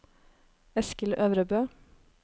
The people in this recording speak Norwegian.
Eskil Øvrebø